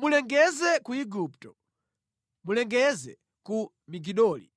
“Mulengeze ku Igupto. Mulengeze ku Migidoli.